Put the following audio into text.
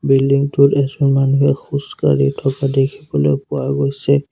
Building টোত এজন মানুহে খোজ কাঢ়ি থকা দেখিবলৈ পোৱা গৈছে।